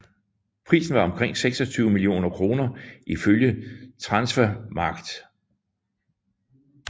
Prisen var omkring 26 millioner kroner ifølge Transfermarkt